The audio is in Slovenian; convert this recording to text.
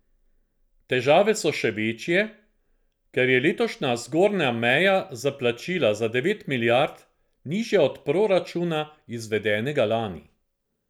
Težave so še večje, ker je letošnja zgornja meja za plačila za devet milijard nižja od proračuna, izvedenega lani.